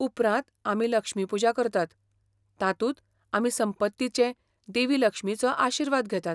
उपरांत आमी 'लक्ष्मीपुजा' करतात, तातूंत आमी संपत्तीचे देवी लक्ष्मीचो आशिर्वाद घेतात.